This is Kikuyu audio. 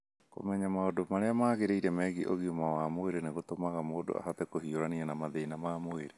Kũmenya maũndũ marĩa magĩrĩire megiĩ ũgima wa mwĩrĩ nĩ gũtũmaga mũndũ ahote kũhiũrania na mathĩna ma mwĩrĩ.